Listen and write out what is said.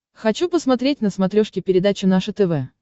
хочу посмотреть на смотрешке передачу наше тв